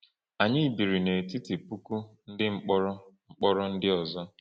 Anyị biri n’etiti puku ndị mkpọrọ mkpọrọ ndị ọzọ.